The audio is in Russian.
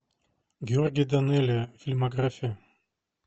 георгий данелия фильмография